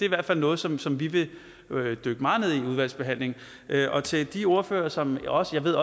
i hvert fald noget som som vi vil dykke meget ned i i udvalgsbehandlingen og til de ordførere som jeg også ved